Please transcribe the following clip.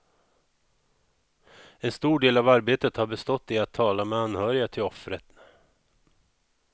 En stor del av arbetet har bestått i att tala med anhöriga till offren.